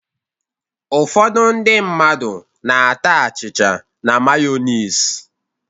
Ụfọdụ ndị mmadụ na-ata achịcha na mayọnis